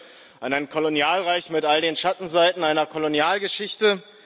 Ich denke an ein Kolonialreich mit all den Schattenseiten einer Kolonialgeschichte.